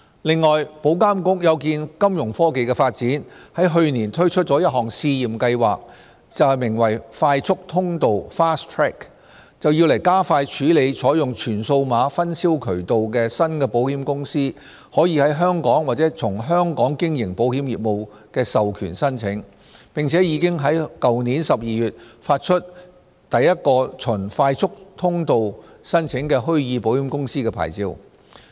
此外，保監局有見金融科技的發展，在去年推出一項試驗計劃，名為"快速通道"，加快處理採用全數碼分銷渠道的新保險公司在香港或從香港經營保險業務的授權申請，並已在去年12月發出首個循"快速通道"申請的虛擬保險公司牌照。